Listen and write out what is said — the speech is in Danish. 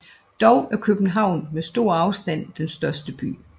Dog er København med stor afstand den største by